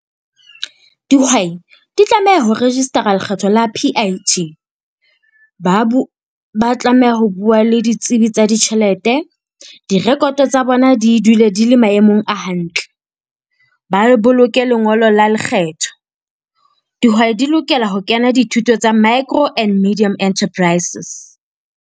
Dihwai di tlameha ho register-a lekgetho la P_I_T. Ba tlameha ho bua le ditsibi tsa ditjhelete direkoto tsa bona di dule di le maemong a hantle. Ba boloke lengolo la lekgetho. Dihwai di lokela ho kena dithuto tsa micro and medium enterprises.